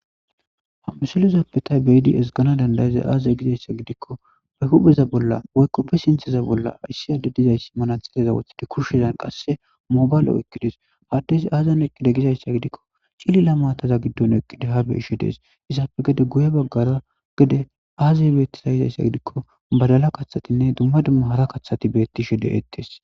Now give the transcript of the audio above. Hamusilezoppetay beidi es gana dandayaza aazay gizayssa gidikko be hupheza bolla woykkoppe sintheza bolla ayssi adde dizayssi mana xileza wothide kushshezan qasse mobaylo okkidees haddes aazan eqqide gizayssa gidikko cilila maataza giddon eqqide ha beishe dees isaafe gede guye baggara gede aazay bettiza yizayssa gidikko badala kathatinne dumma dumma hara kaththati bettishe de'ettees.